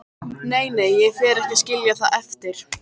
Nei, nei, ég fer ekki að skilja það eftir.